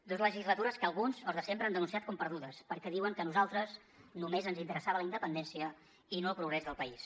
dos legislatures que alguns els de sempre han denunciat com perdudes perquè diuen que a nosaltres només ens interessava la independència i no el progrés del país